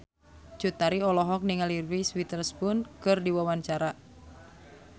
Cut Tari olohok ningali Reese Witherspoon keur diwawancara